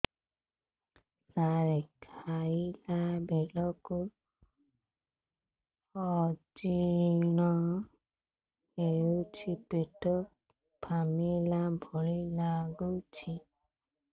ସାର ଖାଇଲା ବେଳକୁ ଅଜିର୍ଣ ହେଉଛି ପେଟ ଫାମ୍ପିଲା ଭଳି ଲଗୁଛି